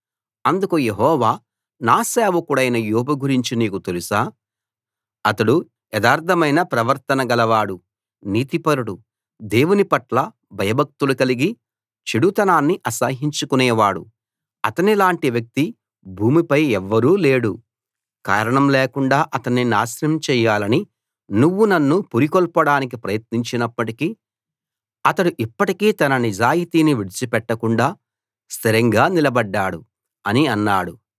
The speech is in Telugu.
అందుకు యెహోవా నా సేవకుడైన యోబు గురించి నీకు తెలుసా అతడు యథార్థమైన ప్రవర్తన గలవాడు నీతిపరుడు దేవుని పట్ల భయభక్తులు కలిగి చెడుతనాన్ని అసహ్యించుకునేవాడు అతనిలాంటి వ్యక్తి భూమిపై ఎవ్వరూ లేడు కారణం లేకుండాా అతణ్ణి నాశనం చెయ్యాలని నువ్వు నన్ను పురికొల్పడానికి ప్రయత్నించినప్పటికీ అతడు ఇప్పటికీ తన నిజాయితీని విడిచిపెట్టకుండా స్ధిరంగా నిలబడ్డాడు అని అన్నాడు